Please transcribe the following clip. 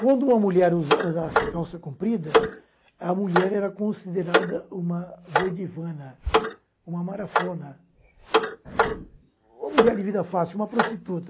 Quando uma mulher usa usasse calça comprida, a mulher era considerada uma doidivana, uma marafona, uma mulher de vida fácil, uma prostituta.